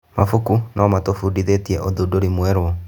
Mabuku no matũbundithie ũthundũri mwerũ.